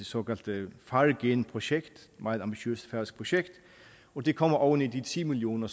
såkaldte fargenprojekt et meget ambitiøst færøsk projekt og det kommer oven i de ti million